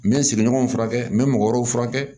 N bɛ n sigiɲɔgɔnw furakɛ n bɛ mɔgɔ wɛrɛw furakɛ